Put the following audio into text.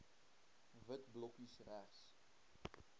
wit blokkies regs